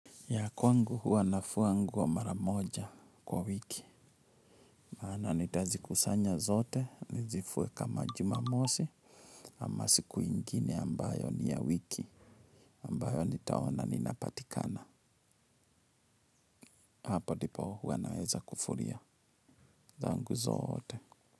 Ya kwangu huwa nafua nguo mara moja kwa wiki. Na nitazikusanya zote, nizifue kama jumamosi, ama siku ingine ambayo ni ya wiki. Ambayo nitaona ninapatikana. Hapo ndipo huwa naweza kufulia. Zangu zote.